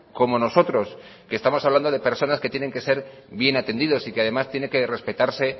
como nosotros que estamos hablando de personas que tienen que ser bien atendidos y que además tiene que respetarse